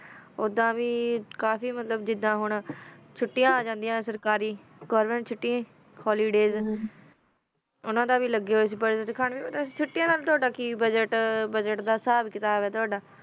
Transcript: ਓਦਾ ਵੀ ਕਾਫੀ ਮਤਲਬ ਜਿਡਾ ਹੁਣ ਛੋਟਿਆ ਆ ਜਾਂਦਿਆ ਨਾ ਕਾਫੀ ਗੋਵੇਰ੍ਨ੍ਮੇੰਟ ਚੋਟੀ ਹੋਲਿਦਾਯ੍ਸ ਨਾ ਓਨਾ ਦਾ ਵੀ ਲਗਾ ਹੋਇਆ ਕੀ ਬਜ਼ਟ ਦਖਣ ਅਨਾ ਨਾਲ ਟੋਹੜਾ ਕੀ ਬਜ਼ਟ ਆ ਬਜ਼ਟ ਦਾ ਸਬ ਕਿਤਾਬ ਆ ਟੋਹੜਾ